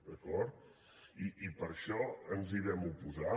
d’acord i per això ens hi vam oposar